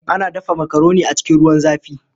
Ana dafa makaroni a cikin ruwan zafi.